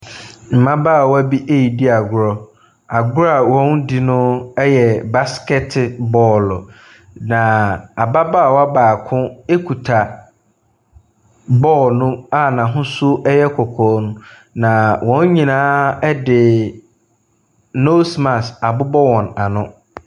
Mmabaawa bi redi agorɔ. Agorɔ a wɔredi no yɛ baskɛte bɔɔlo, na ababaawa baako kita bɔɔlo no a n'ahosuo yɛ kɔkɔɔ no, na wɔn nyinaa di nose mask abobɔ wɔn ano.